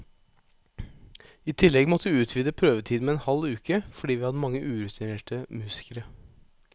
I tillegg måtte vi utvide prøvetiden med en halv uke, fordi vi hadde mange urutinerte musikere.